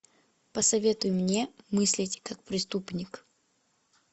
посоветуй мне мыслить как преступник